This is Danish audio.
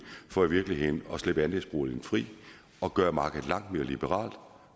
for i virkeligheden at slippe andelsboligen fri og gøre markedet langt mere liberalt at